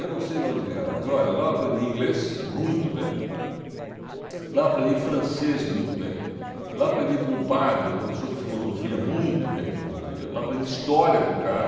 Eu não sei daonde vieram, mas olha, lá eu aprendi inglês muito bem, lá eu aprendi francês muito bem, lá eu aprendi com um padre, um professor de filosofia muito bem, filosofia, lá eu aprendi história com um cara,